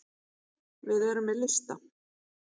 Við erum með lista.